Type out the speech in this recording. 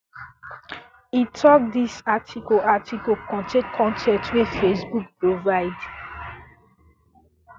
e tok dis um article article contain con ten t wey facebook provide